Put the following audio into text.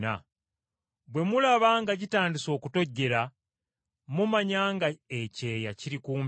Bwe mulaba nga gitandise okutojjera, mumanya ng’ebiseera eby’ebbugumu bituuse.